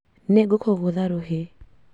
Nĩngũkũgũtha rũhĩ